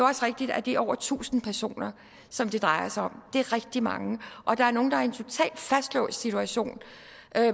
også rigtigt at de over tusind personer som det drejer sig om er rigtig mange og der er nogle der er i en totalt fastlåst situation